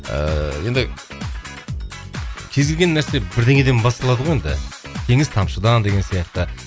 ыыы енді кез келген нәрсе бірдеңеден басталады ғой енді теңіз тамшыдан деген сияқты